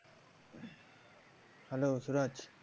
Hello Suraj.